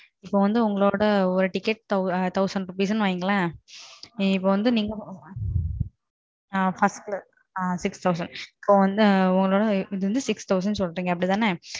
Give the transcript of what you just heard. உங்களோட TIcket ஆயிர ரூபாய்னு வைங்க இப்போ வந்து உங்களோடது ஆறு ஆயிரத்துக்கு சொல்றிங்க அப்படிதானே?